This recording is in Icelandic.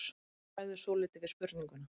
Eddu bregður svolítið við spurninguna.